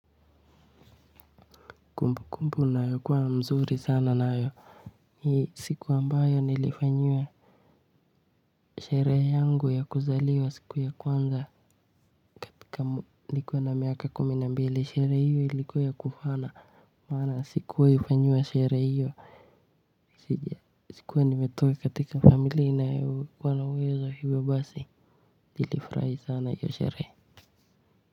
Kumbukumbu ninayokuwa mzuri sana nayo ni siku ambayo nilifanyiwa sherehe yangu ya kuzaliwa siku ya kwanza nikuwa na miaka kumi na mbili. Sherehe hiyo ilikuwa ya kufana. Maana sikuwahifanyiwa sherehe hiyo. Sikuwa nimetoka katika familia inayokuwa na uwezo. Hivyo basi, nilifrahi sana hiyo sherehe.